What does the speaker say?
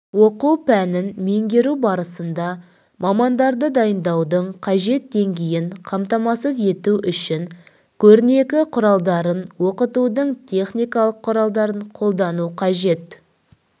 оқу пәнін меңгеру барысында мамандарды дайындаудың қажет деңгейін қамтамасыз ету үшін көрнекі құралдарын оқытудың техникалық құралдарын қолдану қажет